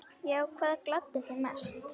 Já Hvað gladdi þig mest?